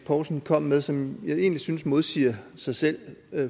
poulsen kom med som jeg egentlig synes modsiger sig selv